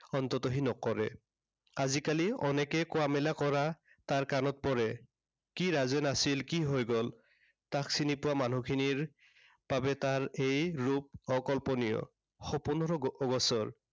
অন্ততঃ সি নকৰে। আজি কালি অনেকেই কোৱা-মেলা কৰা তাৰ কাণত পৰে। কি ৰাজেন আছিল, কি হৈ গল। তাক চিনি পোৱা মানুহখিনিৰ বাবে তাৰ এই ৰূপ অকল্পনীয়। সপোনৰো অ~অগোচৰ।